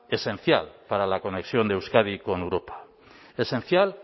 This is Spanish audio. esencial para la conexión de euskadi con europa esencial